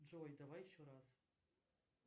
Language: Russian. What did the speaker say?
джой давай еще раз